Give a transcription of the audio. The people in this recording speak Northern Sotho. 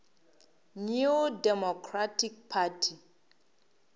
new democratic party